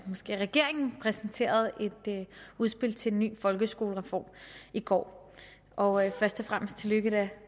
måske regeringen præsenterede et udspil til en ny folkeskolereform i går og først og fremmest tillykke